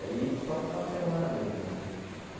Aí só final de semana mesmo, velho?